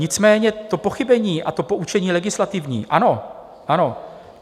Nicméně to pochybení a to poučení legislativní, ano, ano.